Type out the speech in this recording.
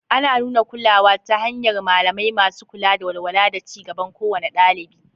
Ana nuna kulawa ta hanyar malamai masu kula da walwala da ci gaban kowane ɗalibi.